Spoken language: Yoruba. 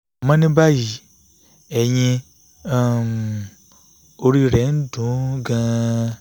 àmọ́ ní báyìí eyín um orí rẹ̀ ń dun ún gan-an